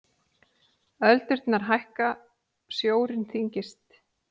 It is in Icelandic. Öldurnar hækka, sjórinn þyngist.